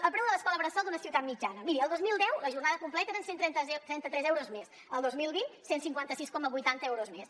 el preu de l’escola bressol d’una ciutat mitjana miri el dos mil deu la jornada completa eren cent i trenta tres euros més el dos mil vint cent i cinquanta sis coma vuitanta euros més